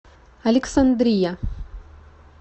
александрия